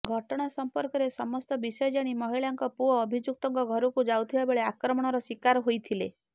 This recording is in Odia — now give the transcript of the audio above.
ଘଟଣା ସମ୍ପର୍କରେ ସମସ୍ତ ବିଷୟ ଜାଣି ମହିଳାଙ୍କ ପୁଅ ଅଭିଯୁକ୍ତଙ୍କ ଘରକୁ ଯାଉଥିବା ବେଳେ ଆକ୍ରମଣର ଶିକାର ହୋଇଥିଲେ